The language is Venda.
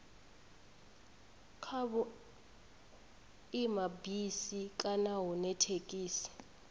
kha vhuimabisi kana hune thekhisi